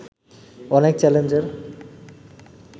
অনেক চ্যালেঞ্জের